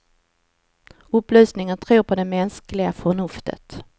Upplysningen tror på det mänskliga förnuftet.